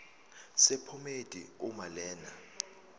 sephomedi uma lena